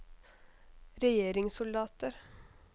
regjeringssoldater